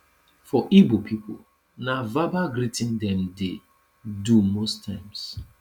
for igbo pipo na verbal greeting dem dey do most times